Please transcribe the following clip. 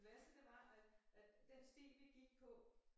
Det værste det var at at den sti vi gik på